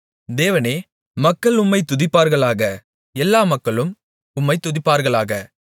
தேவனே மக்கள் உம்மைத் துதிப்பார்களாக எல்லா மக்களும் உம்மைத் துதிப்பார்களாக